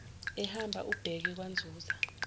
ehamba ebheke kwanzuza